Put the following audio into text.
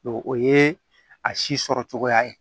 o ye a si sɔrɔ cogoya ye